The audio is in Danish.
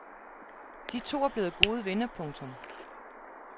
De to er blevet gode venner. punktum